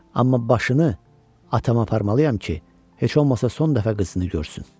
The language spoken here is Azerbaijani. Amma başını atama aparmalıyam ki, heç olmasa son dəfə qabağını görsün.